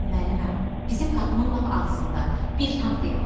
Müəlliməm, bizim qapının lap ağzında bir tank dayanıb.